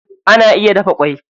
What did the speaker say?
Ana iya dafa ƙwai.